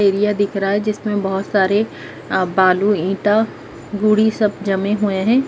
Area दिख रहा है जिसमें बहोत सारे बालू ईंटा गुड़ी सब जमे हुए हैं।